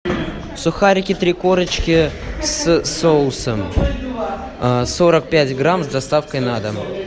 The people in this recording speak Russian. сухарики три корочки с соусом сорок пять грамм с доставкой на дом